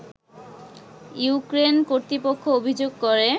Ukraine কর্তৃপক্ষ অভিযোগ করে